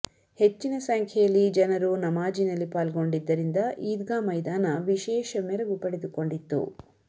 ಹೆಚ್ಚಿನ ಸಂಖ್ಯೆಯಲ್ಲಿ ಜನರು ನಮಾಜಿನಲ್ಲಿ ಪಾಲ್ಗೊಂಡಿದ್ದರಿಂದ ಈದ್ಗಾ ಮೈದಾನ ವಿಶೇಷ ಮೆರಗು ಪಡೆದುಕೊಂಡಿತ್ತು